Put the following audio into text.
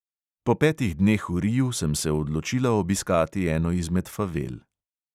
Po petih dneh v riu sem se odločila obiskati eno izmed favel.